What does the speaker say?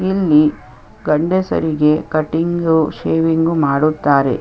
ಇಲ್ಲಿ ಗಂಡಸರಿಗೆ cutting shaving ಮಾಡುತ್ತಾರೆ.